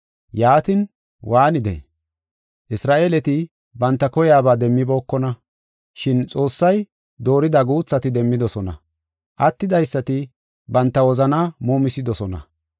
Yaatin, waanidee? Isra7eeleti banta koyaba demmibookona, shin Xoossay doorida guuthati demmidosona. Attidaysati banta wozanaa muumisidosona.